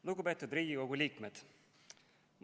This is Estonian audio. Lugupeetud Riigikogu liikmed!